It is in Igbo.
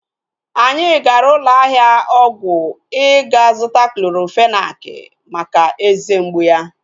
Anyị gara ụlọ ahịa ọgwụ ịga zụta Clorofenak maka eze mgbụ ya